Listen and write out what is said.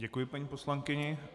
Děkuji paní poslankyni.